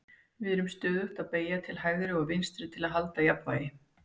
við erum stöðugt að beygja til hægri og vinstri til að halda jafnvægi